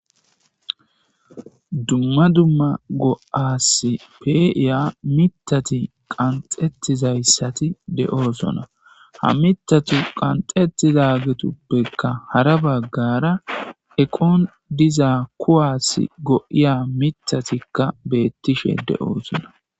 dumma dumma go'aasi pe'ya mitati qanxettizayssati de7oosona ha mitatu qanxetizagetuppekka hara baggara eqon diza kuwaassi go7iya mitatikka beettishe de7oosona